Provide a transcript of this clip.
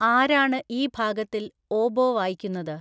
ആരാണ് ഈ ഭാഗത്തിൽ ഓബോ വായിക്കുന്നത്